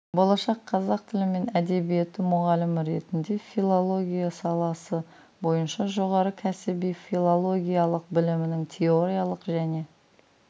болашақ қазақ тілі мен әдебиеті мұғалімі ретінде филология саласы бойынша жоғары кәсіби филологиялық білімнің теориялық және